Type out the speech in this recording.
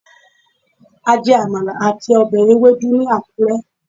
a jè Amala atí obè ewedu ni akure